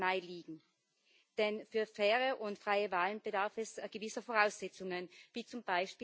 20. Mai liegen, denn für faire und freie Wahlen bedarf es gewisser Voraussetzungen wie z.